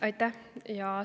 Aitäh!